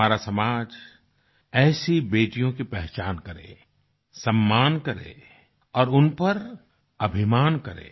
हमारा समाज ऐसी बेटियों की पहचान करे सम्मान करे और उन पर अभिमान करे